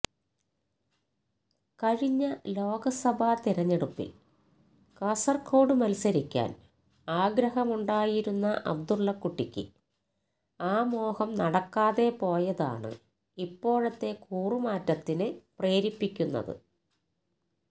കഴിഞ്ഞ ലോക്സബാ തിരഞ്ഞെടുപ്പില് കാസര്കോട് മത്സരിക്കാന് ആഗ്രഹമുണ്ടായിരുന്ന അബ്ദുല്ലക്കുട്ടിക്ക് ആ മോഹം നടക്കാതെപോയതാണ് ഇപ്പോഴത്തെ കൂറുമാറ്റത്തിന് പ്രേരിപ്പിക്കുന്നത്